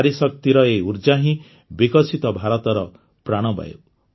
ନାରୀଶକ୍ତିର ଏହି ଉର୍ଜ୍ଜା ହିଁ ବିକଶିତ ଭାରତର ପ୍ରାଣବାୟୁ